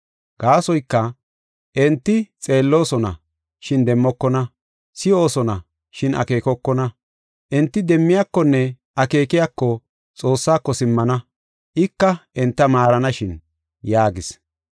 Gaasoyka, “ ‘Enti xeelloosona, shin demmokona. Si7oosona, shin akeekokona. Enti demmiyakonne akeekiyako, Xoossaako simmana ika enta maaranashin’ ” yaagis.